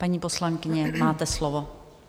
Paní poslankyně, máte slovo.